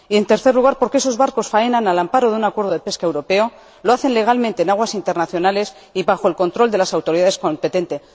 Y, en tercer lugar, porque esos barcos faenan al amparo de un acuerdo de pesca europeo, lo hacen legalmente en aguas internacionales y bajo el control de las autoridades competentes.